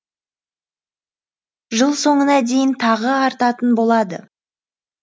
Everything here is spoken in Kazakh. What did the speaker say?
жыл соңына дейін тағы артатын болады